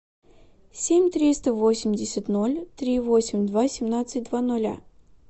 семь триста восемьдесят ноль три восемь два семнадцать два ноля